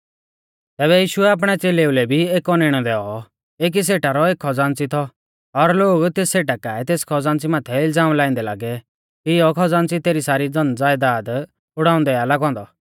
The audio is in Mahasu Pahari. तैबै यीशुऐ आपणै च़ेलेऊ लै भी एक औनैणौ दैऔ एकी सेठा रौ एक खज़ान्च़ी थौ और लोग तेस सेठा काऐ तेस खज़ान्च़ी माथै इलज़ाम लाइंदै लागै कि इयौ खज़ान्च़ी तेरी सारी धन ज़यदाद उड़ाउंदै आ लागौ औन्दौ